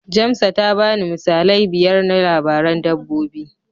Jamsa ta bani misalai biyar na labaran dabbobi.